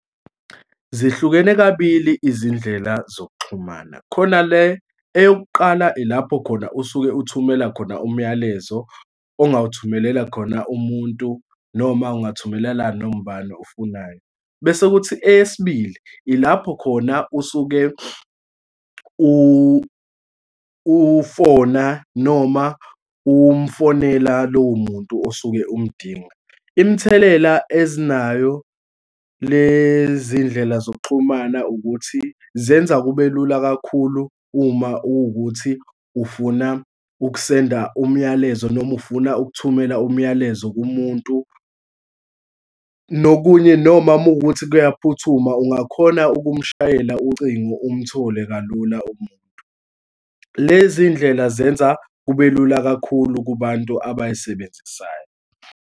Zihlukene kabili izindlela zokuxhumana, khona le eyokuqala, ilapho khona usuke uthumela khona umyalezo ongawuthumelela khona umuntu, noma ungathumelela noma ubani ofunayo. Bese kuthi eyesibili, ilapho khona usuke ufona noma umfonela lowo muntu osuke umdinga. Imithelela ezinayo lezindlela zokuxhumana ukuthi. zenza kube lula kakhulu uma kuwukuthi ufuna ukusenda umyalezo noma ufuna ukuthumela umyalezo kumuntu, nokunye, noma muwukuthi kuyaphuthuma, ungakhona ukumushayela ucingo, umthole kalula umuntu. Lezi ndlela zenza kube lula kakhulu kubantu abay'sebenzisayo.